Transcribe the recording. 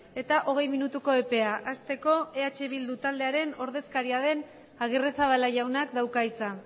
eta ogei minutu epea asteko eh bilduren ordezkaria den agirrezabala jaunak dauka hitza